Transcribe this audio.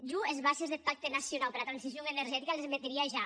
jo es bases deth pacte nacionau pera transicion energetica les meteria ja